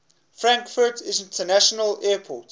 frankfurt international airport